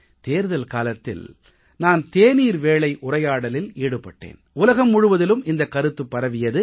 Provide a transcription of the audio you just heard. தேர்தல் காலத்தில் நான் தேநீர் வேளை உரையாடலில் ஈடுபட்டேன் உலகம் முழுவதிலும் இந்தக் கருத்து பரவியது